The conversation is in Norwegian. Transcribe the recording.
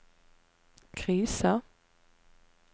krisa